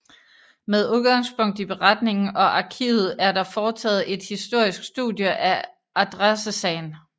Med udgangspunkt i beretningen og arkivet er der foretaget et historisk studie af adressesagen